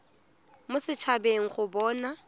mo set habeng go bona